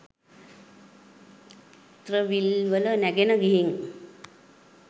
ති්‍රවිල්වල නැගලා ගිහින්